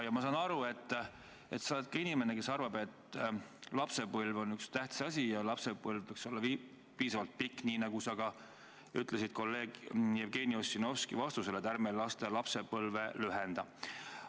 Ma saan aru, et sa oled inimene, kes arvab, et lapsepõlv on tähtis asi ja lapsepõlv võiks olla piisavalt pikk, nii nagu sa ütlesid kolleeg Jevgeni Ossinovskile vastates, et ärme laste lapsepõlve lühendame.